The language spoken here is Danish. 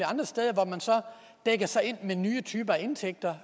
dækker sig ind med nye typer af indtægter